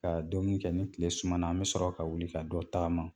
Ka dumini kɛ ni tile sumana an bɛ sɔrɔ ka wuli ka dɔ tagama